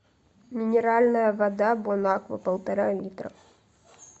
минеральная вода бонаква полтора литра